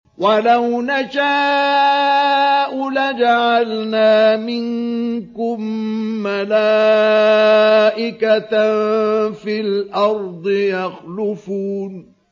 وَلَوْ نَشَاءُ لَجَعَلْنَا مِنكُم مَّلَائِكَةً فِي الْأَرْضِ يَخْلُفُونَ